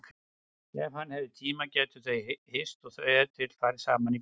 Ef hann hefði tíma gætu þau hist og ef til vill farið saman í bíó.